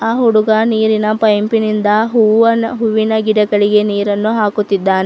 ಆ ಹುಡುಗ ನೀರಿನ ಪೈಪಿನಿಂದ ಹೂವನ್ನು ಹೂವಿನ ಗಿಡಗಳಿಗೆ ನೀರನ್ನು ಹಾಕುತ್ತಿದ್ದಾನೆ.